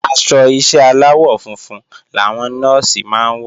Aṣọ ìṣe aláwọ̀ funfun làwọn Nọ́ọ̀sì máa ń wọ̀